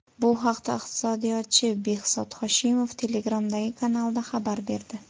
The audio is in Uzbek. Bu haqda iqtisodiyotchi Behzod Hoshimov Telegram’dagi kanalida xabar berdi .